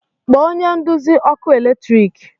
kpọọ onye nduzi ọkụ eletrik